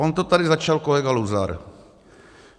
On to tady začal kolega Luzar.